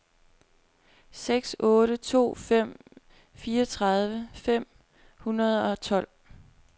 seks otte to fem fireogtredive fem hundrede og tolv